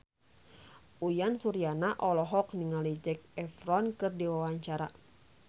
Uyan Suryana olohok ningali Zac Efron keur diwawancara